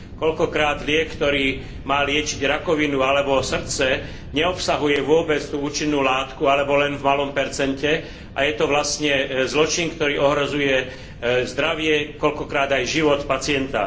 Koľkokrát liek, ktorý má liečiť rakovinu alebo srdce, neobsahuje vôbec tú účinnú látku alebo len v malom percente a je to vlastne zločin, ktorý ohrozuje zdravie, koľkokrát aj život pacienta.